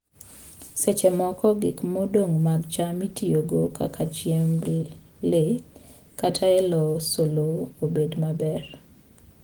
Seche moko, gik modong' mag cham itiyogo kaka chiemb le kata e loso lowo obed maber.